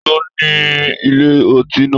Taló ní ilé ọtí náà?